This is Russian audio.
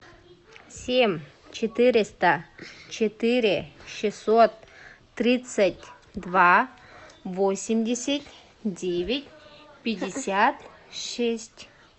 семь четыреста четыре шестьсот тридцать два восемьдесят девять пятьдесят шесть